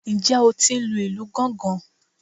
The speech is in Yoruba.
Ǹjẹ́ o tí ń lu ìlù gángan?